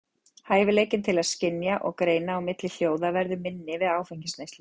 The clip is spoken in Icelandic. Hæfileikinn til að skynja og greina á milli hljóða verður minni við áfengisneyslu.